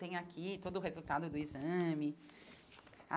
Tem aqui todo o resultado do exame.